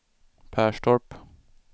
Perstorp